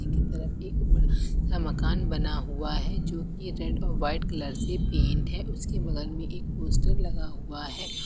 कि तरफ एक सा मकान बना हुआ है जो की रेड और वाइट कलर से पेंट है उसके बगल में एक पोस्टर लगा हुआ है।